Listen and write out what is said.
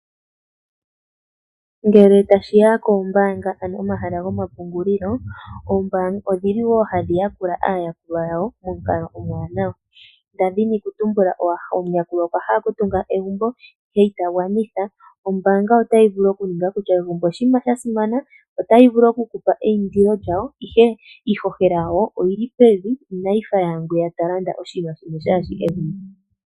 Ngele tashi ya koombaanga, ano omahala gomapungulilo, oombaanga odhi li wo hadhi yakula aayakulwa yawo momukalo omuwanawa. Nda dhini kutumbula omuyakulwa okwa hala okutunga egumbo ihe ita gwanitha, ombaanga otayi vulu okuninga kutya egumbo oshinima sha simana, otayi vulu oku ku pa eindilo lyawo, ihe iihohela yawo oyi li pevi, inayi fa yaangwiya ta landa oshinima shimwe shaa shi egumbo.